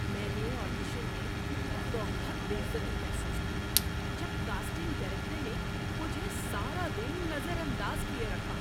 میں نے آڈیشن میں بہت بے عزتی محسوس کی جب کاسٹنگ ڈائریکٹر نے مجھے سارا دن نظر انداز کیے رکھا۔